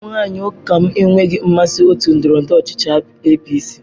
Ụmụ nwanyị ụka lm enweghị nmasị otu ndọrọndọrọ ọchịchị APC.